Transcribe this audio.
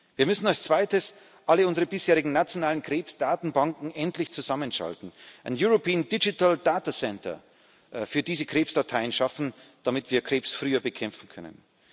Wir müssen als Zweites alle unsere bisherigen nationalen Krebsdatenbanken endlich zusammenschalten, ein European Digital Datacentre für diese Krebsdateien schaffen, damit wir Krebs früher bekämpfen können.